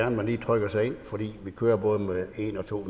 at man trykker sig ind for vi kører både med en og to